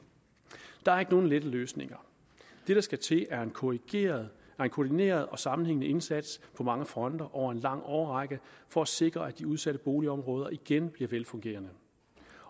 der er ikke nogen lette løsninger det der skal til er en koordineret koordineret og sammenhængende indsats på mange fronter over en lang årrække for at sikre at de udsatte boligområder igen bliver velfungerende